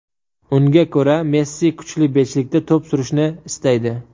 Unga ko‘ra, Messi kuchli beshlikda to‘p surishni istaydi.